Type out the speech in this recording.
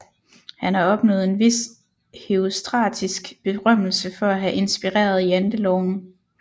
Han har opnået en vis herostratisk berømmelse for at have inspireret Janteloven